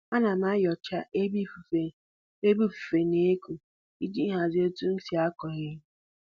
Ana m enyocha ebe ifufe ebe ifufe na-eku iji hazie otu m si akụ ihe